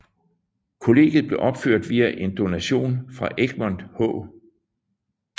Kollegiet blev opført via en donation fra Egmont H